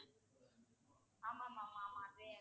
ஆமா ma'am ஆமா.